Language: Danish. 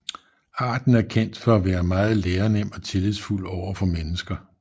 Arten er kendt for at være meget lærenem og tillidsfuld over for mennesker